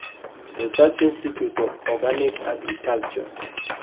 Research Institute of Organic Agriculture